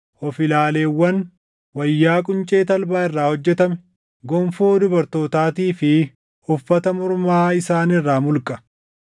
of ilaaleewwan, wayyaa quncee talbaa irraa hojjetame, gonfoo dubartootaatii fi uffata mormaa isaan irraa mulqa.